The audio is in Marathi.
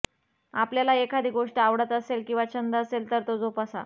आपल्याला एखादी गोष्ट आवडत असेल किंवा छंद असेल तर तो जोपासा